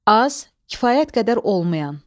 Az, kifayət qədər olmayan.